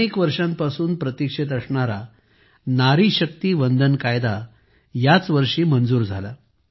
अनेक वर्षांपासून प्रतीक्षेत असणारा नारी शक्ती वंदन कायदा यावर्षी मंजूर झाला